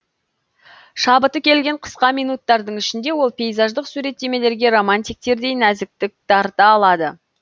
шабыты келген қысқа минуттардың ішінде ол пейзаждық суреттемелерге романтиктердей нәзіктік дарыта алады